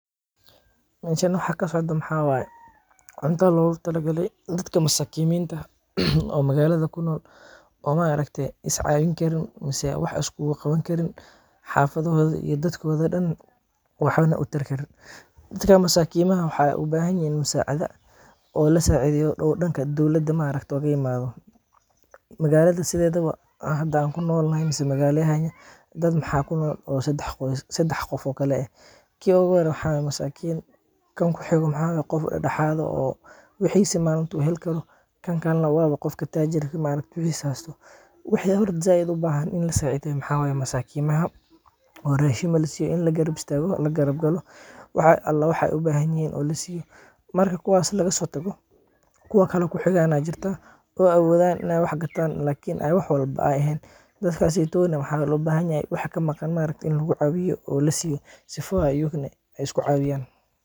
Meeshan waxa kasocdo waxaa waye, cunta loogu tala gale dadka masakiiminta, oo magaalada kunool, oo maaragte is caawin karin mise wax iskuugu qaban Karin, xafadahooda iyo dadkooda oo dan waxba utari Karin, dadka masakiimaha waxeey ubahan yihiin musaacada oo lasaacideeyo oo danka dowlada kaimate, magaalada sideedaba oo hada aan kunool nahay mise magaala yeheena, dad waxaa kunool sedex nooc kala eh, kii oogu hore waxaa waye masakiin, kan kuxigo maxaa waye qof dexdexaad ah oo wixiisa maalinta heli karo, kan kalena waaba qofka taajirka oo wixiisa haysto, wixi sait oogu bahan in lasaacideeyo waxaa waye masaakimaha, oo raashin lasiiyo, in lagarab istaago, lagarab galo, wax ala iyo waxa aay ubahan yihiin lasiiyo, marka kuwaas lagasoo tago, kuwo kale oo kuxigaan ayaa jirta, oo aboodan inaay wax gataan lakin wax walbo eheen, dadkaseyto waxeey waxeey ubahan yihiin waxa kamaqan in lagu caawiyo oo lasiiyo sifoo aay ayagana isku caawiyaan.